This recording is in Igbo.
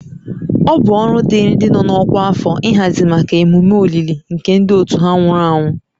Ọ bụ ọrụ dịịrị ndị nọ n'ọkwa afọ ịhazi maka emume olili nke ndị otu ha nwụrụ anwụ